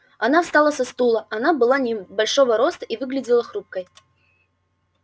она встала со стула она была небольшого роста и выглядела хрупкой